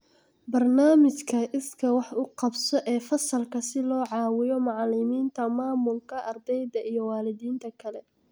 Barnaamijka iskaa wax u qabso ee fasalka si loo caawiyo macalimiinta, maamulka, ardayda iyo waalidiinta kale.